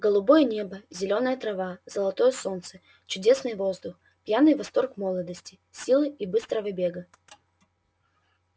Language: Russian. голубое небо зелёная трава золотое солнце чудесный воздух пьяный восторг молодости силы и быстрого бега